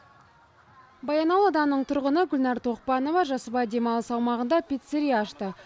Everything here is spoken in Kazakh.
баянауыл ауданының тұрғыны гүлнар тоқпанова жасыбай демалыс аумағында пиццерия ашты